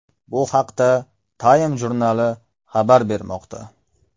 Bu haqda Time jurnali xabar bermoqda .